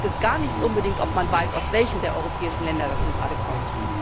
Da bringt es gar nichts, ob man weiß, aus welchem der europäischen Länder das nun gerade kommt.